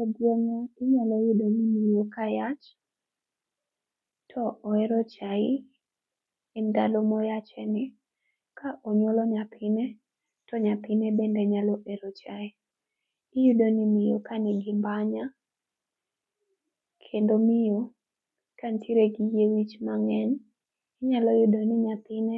E gweng'wa inyalo yudo ni miyo kayach to oero chai, e ndalo moyache ni. Ka onyuolo nyathine, to nyathine bende nyalo ero chai. Iyudo ni miyo ka nigi mbanya, kendo miyo, kantiere gi yiewich mang'eny, inyalo yudo ni nyathine